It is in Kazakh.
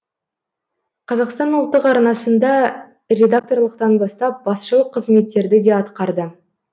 қазақстан ұлттық арнасында редакторлықтан бастап басшылық қызметтерді де атқарды